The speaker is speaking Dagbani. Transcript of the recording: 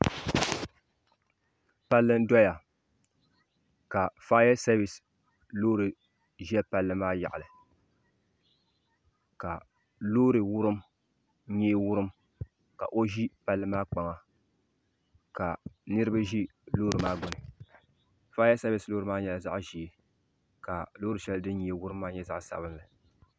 palli n doya ka fayasevis ʒɛ palli maa yaɣali ka Loori nyee wurim ka o ʒi palli maa kpaŋa kaniriba ʒi loori maa gbini fayasevis loori maa nyɛla zaɣa ʒee ka Loori sheli fin nyee wurim maa nyɛ zaɣa sabinli.